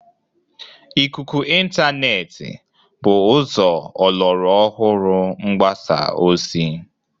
Ikuku Ịntaanet bụ ụzọ ọlọrụ ọhụrụ mgbasa ozi.